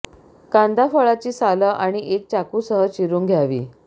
कांदा फळाची साल आणि एक चाकू सह चिरून घ्यावी